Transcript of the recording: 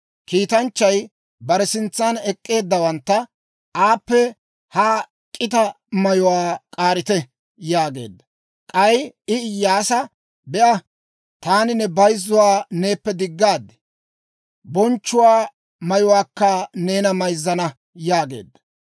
Kiitanchchay bare sintsan ek'k'eeddawantta, «Aappe ha k'ita mayuwaa k'aarite» yaageedda. K'ay I Iyyaasa, «Be'a, taani ne bayzzuwaa neeppe diggaad; bonchchuwaa mayuwaakka neena mayzzana» yaageedda.